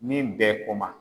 Min bɛ kuma